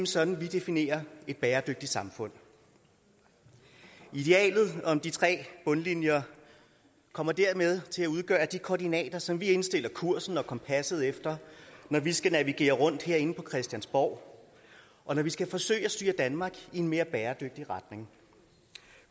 sådan vi definerer et bæredygtigt samfund idealet om de tre bundlinjer kommer dermed til at udgøre de koordinater som vi indstiller kursen og kompasset efter når vi skal navigere rundt herinde på christiansborg og når vi skal forsøge at styre danmark i en mere bæredygtig retning